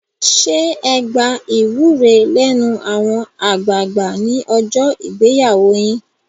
Ṣé ẹ gba ìwúre lẹ́nu àwọn àgbààgbà ní ọjọ́ ìgbéyàwó yín?